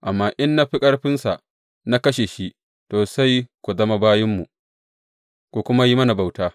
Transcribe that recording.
Amma in na fi ƙarfinsa na kashe shi, to, sai ku zama bayinmu, ku kuma yi mana bauta.